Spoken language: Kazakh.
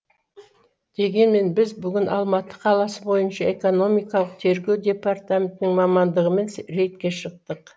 дегенмен біз бүгін алматы қаласы бойынша экономикалық тергеу департаментінің мамандығымен рейдке шықтық